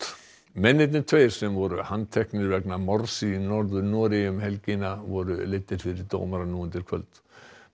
mennirnir tveir sem voru handteknir vegna morðs í Norður Noregi um helgina voru leiddir fyrir dómara nú undir kvöld